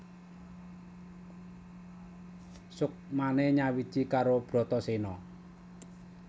Suksmane nyawiji karo Bratasena